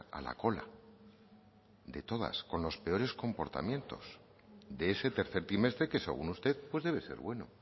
a la cola de todas con los peores compartimientos de ese tercer trimestre que según usted pues debe ser bueno